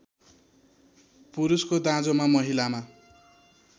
पुरुषको दाँजोमा महिलामा